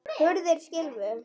Hurðir skylfu.